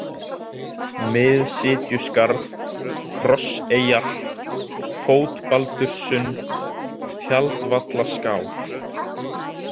Miðsitjuskarð, Krosseyjar, Fótbaldurssund, Tjaldvallaskál